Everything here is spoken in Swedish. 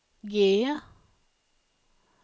G